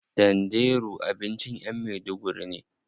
Danderu abincin yan maiduguri ne.